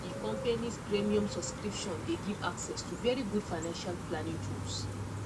di companys premium subscription dey give access to very good financial planning tools